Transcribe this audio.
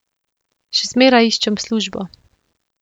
Še zmeraj iščem službo.